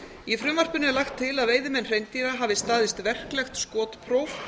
í frumvarpinu er lagt til að veiðimenn hreindýra hafi staðist verklegt skotpróf